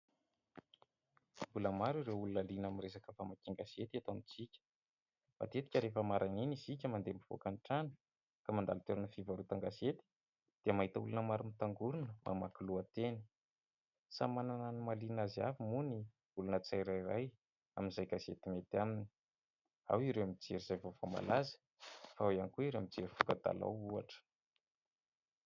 Mbola maro ireo olona liana amin'ny resaka famakian-gazety eto amintsika. Matetika rehefa maraina iny isika mandeha mivoaka ny trano ka mandalo toerana fivarotan-gazety dia mahita olona maro mitangorona mamaky lohateny. Samy manana ny mahaliana azy avy moa ny olona tsirairay amin'izay gazety mety aminy. Ao ireo mijery izay vaovao malaza, ao ihany koa ireo mijery voka-dalao ohatra.